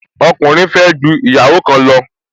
Ọkùnrin fẹ́ ju ìyàwó kan lọ